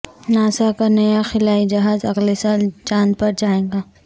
NASA کا نیا خلائی جہاز اگلے سال چاند پر جائیگا